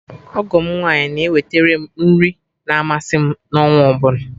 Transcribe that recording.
Ọgọ m nwaanyị na eweterem nri ma amasị m n'ọnwaọbụla